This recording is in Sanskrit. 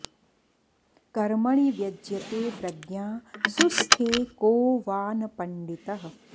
कर्मणि व्यज्यते प्रज्ञा सुस्थे को वा न पण्डितः